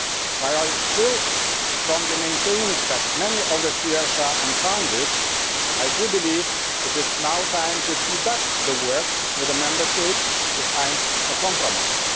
While I still strongly maintain that many of the fears are unfounded, I do believe it is now time to speed up the work with the Member States in order to find a compromise.